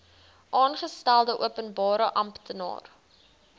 aangestelde openbare amptenaar